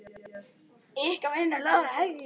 Ykkar vinir, Lára og Helgi.